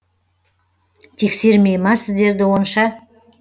тексермей ма сіздерді онша